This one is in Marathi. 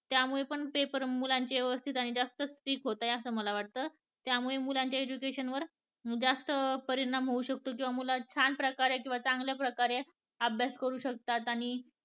त्यामुळे पण पेपर मुलांचे व्यवस्थित आणि जास्त strict होत आहेत असं मला वाटत. त्यामुळे मुलांच्या education वर जास्त परिणाम होऊ शकतो किंवा मुलांच्या छान प्रकारे किंवा चांगल्या प्रकारे अभ्यास करू शकतात